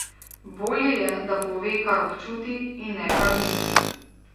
Bolje je, da pove, kar občuti, in ne, kar misli.